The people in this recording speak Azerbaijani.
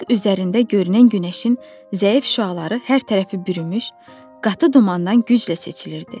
Üfüq üzərində görünən günəşin zəif şüaları hər tərəfi bürümüş qatı dumandan güclə seçilirdi.